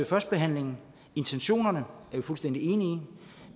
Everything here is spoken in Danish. førstebehandlingen intentionerne er vi fuldstændig enige